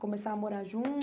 Começava a morar junto